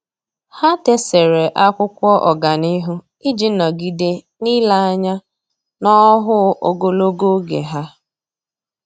Há dèsere ákwụ́kwọ́ ọ́gànihu iji nọ́gídé n’ílé anya n’ọ́hụ́ụ ogologo oge ha.